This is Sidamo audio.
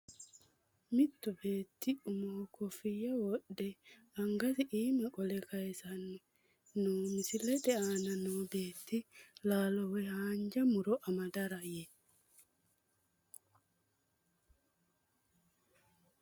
Mittu beeti umoho kofiya wodhw angasi iima qole kayiisano no misilete aana noo beeti laalo woyi haanja muro amadara yee.